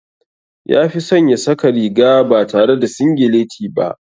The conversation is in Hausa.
Ya fi son ya saka riga ba tare da singileti ba.